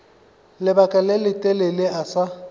lebaka le letelele a sa